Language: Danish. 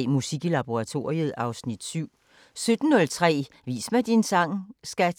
16:03: Musik i laboratoriet (Afs. 7) 17:03: Vis mig din sang, skat!